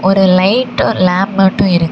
ஒரு light lamp மட்டும் இருக்கு.